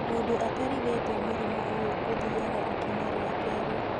Mundu ata rigitwo mũrimũ ũyũ ũthiaga ikinya rĩa kerĩ